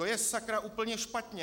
To je, sakra, úplně špatně!